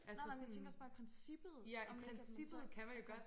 Nej nej men jeg tænker også bare i princippet om ikke at man så altså